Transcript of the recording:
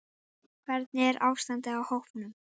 Hvernig er ástandið á hópnum?